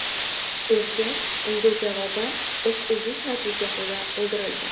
Erkak unga javoban o‘q uzish natijasida o‘ldirilgan.